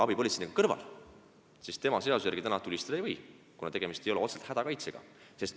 Abipolitseinik, kes istub kõrval, seaduse järgi tulistada ei või, kuna tegemist ei ole otseselt hädakaitsega.